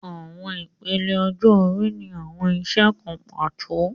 Awọn ipele ọjọ-ori ni awọn iṣẹ kan pato